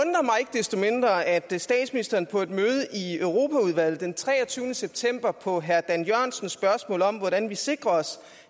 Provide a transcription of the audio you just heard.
desto mindre at statsministeren på et møde i europaudvalget den treogtyvende september på herre dan jørgensens spørgsmål om hvordan vi sikrer os